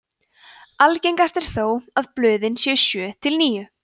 algengast er þó að blöðin séu sjö til níu